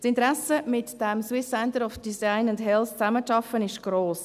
Das Interesse mit dem SCDH zusammenzuarbeiten ist gross.